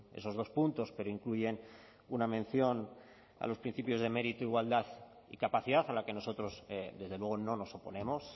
esos dos puntos pero incluyen una mención a los principios de mérito igualdad y capacidad a la que nosotros desde luego no nos oponemos